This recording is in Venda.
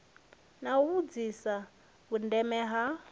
na u vhudzisa vhundeme ha